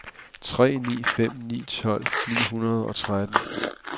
tre ni fem ni tolv ni hundrede og tretten